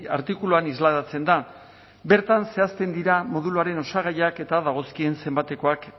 artikuluan islatzen da bertan zehazten dira moduluaren osagaiak eta dagozkien zenbatekoak